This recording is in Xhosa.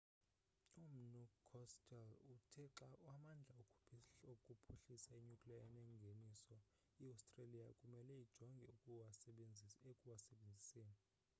umnu costello uthe xa amandla okuphuhlisa i-nuclear enengeniso iostreliya kumele ijonge ekuwasebenziseni